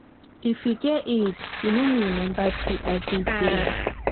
if you get iud you no need remember pill every day.